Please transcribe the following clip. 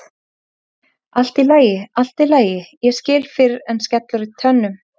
Allt í lagi, allt í lagi, ég skil fyrr en skellur í tönnum.